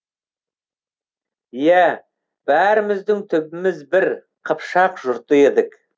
иә бәріміздің түбіміз бір қыпшақ жұрты едік